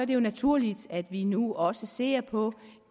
det jo naturligt at vi nu også ser på